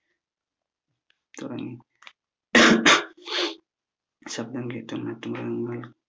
തുടങ്ങി ശബ്ദം കേട്ട് മറ്റ്